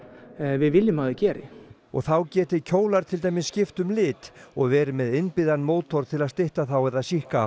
við viljum að þau geri og þá geti kjólar til dæmis skipt um lit og verið með innbyggðum mótor til að stytta þá eða